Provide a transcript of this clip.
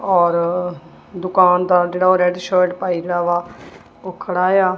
ਔਰ ਦੁਕਾਨਦਾਰ ਜਿਹੜਾ ਉਹ ਰੈਡ ਸ਼ਰਟ ਪਾਈ ਵਾ ਉਹ ਖੜਾ ਵਾ।